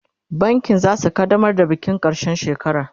bankin zasu kaddamar da bikin karshen shekara